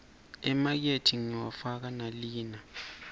emateki ngiwafaka nalina